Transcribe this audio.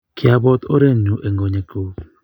Kiabot orenyu eng' konyekuk